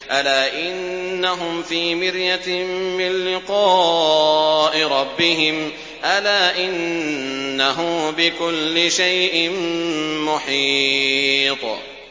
أَلَا إِنَّهُمْ فِي مِرْيَةٍ مِّن لِّقَاءِ رَبِّهِمْ ۗ أَلَا إِنَّهُ بِكُلِّ شَيْءٍ مُّحِيطٌ